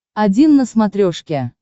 один на смотрешке